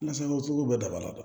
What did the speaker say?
Nasako sugu bɛɛ daba la